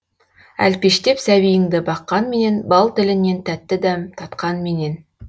әлпештеп сәбиіңді баққанменен бал тілінен тәтті дәм татқанменен